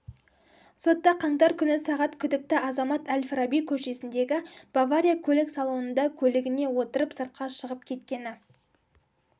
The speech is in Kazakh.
сотта қаңтар күні сағат күідкті азамат әл-фараби көшесіндегі бавария көлік салонында көлігіне отырып сыртқа шығып кеткені